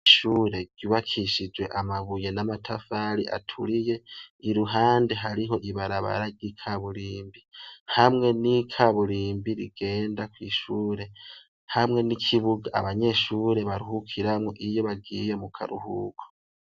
Ishure ryubakishijwe amabuye n'amatafari aturiye i ruhande hariho ibarabarary'ika burimbi hamwe n'ikaburimbi rigenda kw'ishure hamwe n'ikibuga abanyeshure baruhukiramwo iyo bagiye mu karuhuko.